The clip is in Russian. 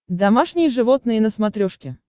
домашние животные на смотрешке